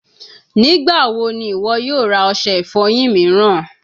Nigbawo ni iwọ yoo ra ose ifoyin miiran?